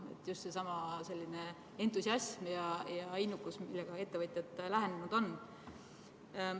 Mõtlen just seda entusiasmi ja innukust, millega ettevõtjad lähenenud on.